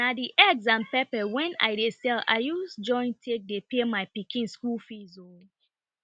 na the eggs and pepper wen i dey sell i use join take dey pay my pikin school fees o